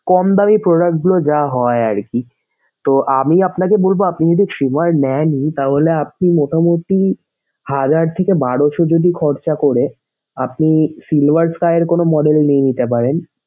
কম দামি product গুলো যা হয় আরকি। তো আমি আপনাকে বলবো আপনি যদি trimmer নেন ই তাহলে আপনি মোটামুটি হাজার থেকে বারোশো যদি খরচ করে আপনি silver sky এর কোনো model নিয়ে নিতে পারেন।